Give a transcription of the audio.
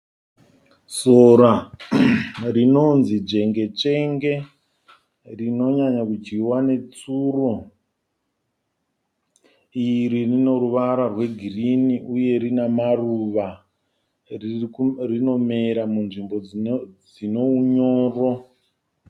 Sora rinonzi dzvengetsvenge, rinonyanya kudyiwa netsuro. Iri rino ruvara rwegirini uye rina maruva rinomera munzvimbo dzine unyoro.